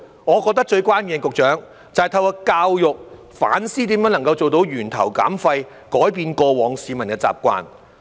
我認為最關鍵的，局長，就是透過教育來反思如何做到源頭減廢，改變市民過往的習慣。